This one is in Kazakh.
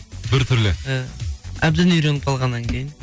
біртүрлі иә әбден үйреніп қалғаннан кейін